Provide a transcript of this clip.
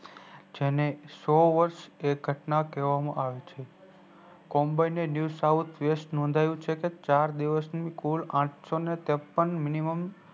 જેને સૌ વર્ષ એક ઘટના કેવા માં આવે છે કોબાઈ ને new sound best નોઘ્યું છે ચારદિવસ નું કુલ આઠસો ને તેપણ minimum